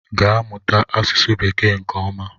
gaa mụta asụsụ bekee nke oma!